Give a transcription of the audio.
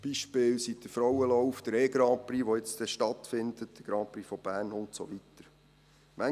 Beispiele sind der Frauenlauf, der E-Grand-Prix, der dann bald stattfindet, der Grandprix von Bern und so weiter.